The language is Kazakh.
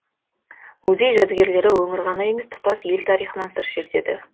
музей жәдігерлері өңір ғана емес тұтас ел тарихынан сыр шертеді